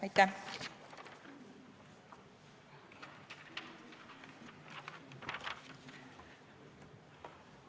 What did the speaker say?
Aitäh!